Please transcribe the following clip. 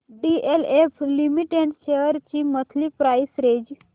DLF limited shares ची monthly price range